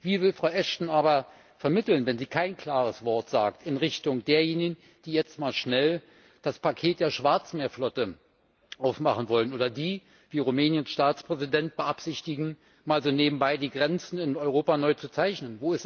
Wie will Frau Ashton aber vermitteln, wenn sie kein klares Wort sagt in Richtung derjenigen, die jetzt mal schnell das Paket der Schwarzmeerflotte aufmachen wollen, oder die wie Rumäniens Staatspräsident beabsichtigen, mal so nebenbei die Grenzen in Europa neu zu zeichnen?